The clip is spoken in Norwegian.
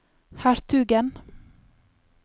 hertugen